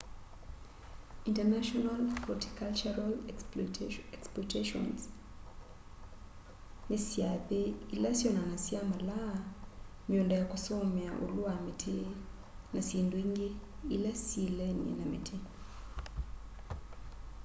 international horticultural expoitions ni syathe ila syonanasya malaa miunda ya kusomea ulu wa miti na syindu ingi ila syiilenie na miti